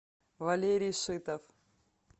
валерий сытов